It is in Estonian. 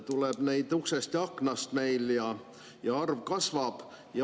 Tuleb neid uksest ja aknast ja arv kasvab.